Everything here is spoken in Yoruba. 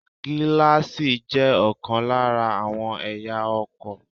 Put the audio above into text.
Gíláàsì jé òkan lára àwọn ẹ̀yà ara ọkò